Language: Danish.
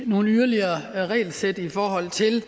nogle yderligere regelsæt i forhold til